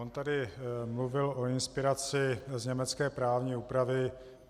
On tady mluvil o inspiraci z německé právní úpravy.